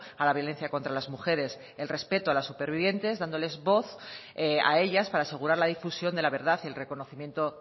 a la violencia contra las mujeres el respeto a las supervivientes dándoles voz a ellas para asegurar la difusión de la verdad y el reconocimiento